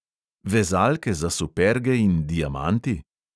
Vezalke za superge in diamanti?